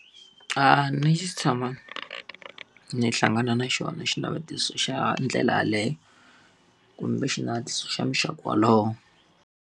A ni se tshama ni hlangana na xona xinavetiso xa ndlela yaleyo, kumbe xinavetiso xa muxaka wolowo.